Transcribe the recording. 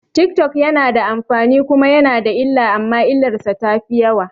Tik tok yana da amfani kuma yana da illa amma illarsa tafi yawa